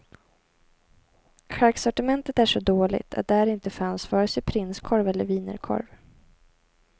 Charksortimentet är så dåligt att där inte fanns vare sig prinskorv eller wienerkorv.